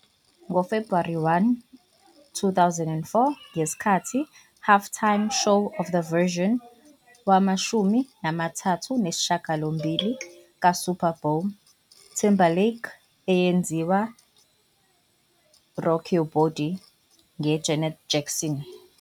Ngo-February 1, 2004, ngesikhathi halftime show of the version wamashumi amathathu nesishiyagalombili ka-Super Bowl, Timberlake eyenziwa "Rock Your Body" nge Janet Jackson.